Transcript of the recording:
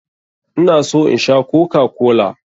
Ina so in Sha kokakola.